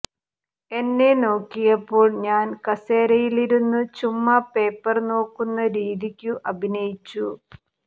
എന്നെ നോക്കിയപ്പോൾ ഞാൻ കസേരയിലിരുന്നു ചുമ്മാ പേപ്പർ നോക്കുന്ന രീതിക്കു അഭിനയിച്ചു